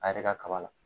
A yɛrɛ ka kaba la